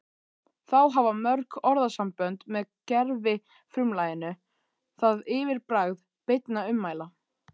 Þá hafa mörg orðasambönd með gervifrumlaginu það yfirbragð beinna ummæla